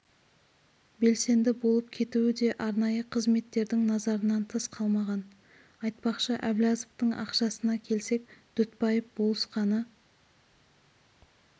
белсенді болып кетуі де арнайы қызметтердің назарынан тыс қалмаған айтпақшы әблязовтың ақшасына келсек дүтбаев болысқаны